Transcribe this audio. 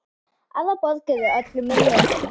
Aðrar borgir eru öllu minni.